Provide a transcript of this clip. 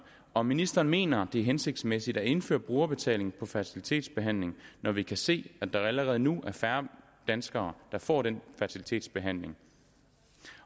om ministeren mener at det er hensigtsmæssigt at indføre brugerbetaling på fertilitetsbehandling når vi kan se at der allerede nu er færre danskere der får den fertilitetsbehandling